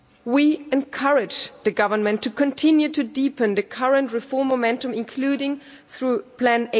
We encourage the government to continue to deepen the current reform momentum, including through Plan